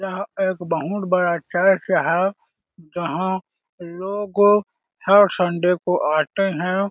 यह एक बहुत बड़ा चर्च है जहाँ लोगो हर संडे को आते हैं।